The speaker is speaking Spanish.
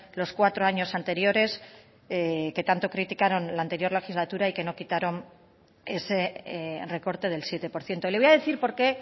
los cuatro años anteriores que tanto criticaron la anterior legislatura y que no quitaron ese recorte del siete por ciento le voy a decir por qué